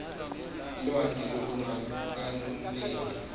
lwati lolungakeneli